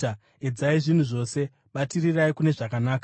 Edzai zvinhu zvose. Batirirai kune zvakanaka.